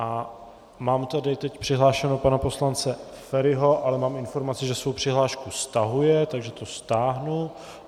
A mám tady teď přihlášeného pana poslance Feriho, ale mám informaci, že svou přihlášku stahuje, takže to stáhnu.